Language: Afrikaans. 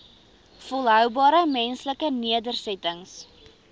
volhoubare menslike nedersettings